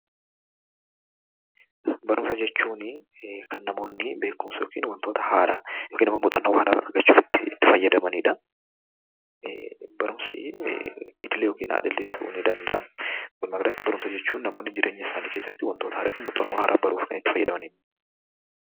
Barumsa jechuun kan namoonni beekumsa yookiin muuxannoo haaraa argachuuf itti fayyadamanidha. Barumsi idilee yookiin al idilee ta'uu danda'a. Barumsa jechuun kan namoonni jireenya isaanii keessatti waan haaraa baruuf itti fayyadamanidha.